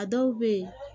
A dɔw bɛ yen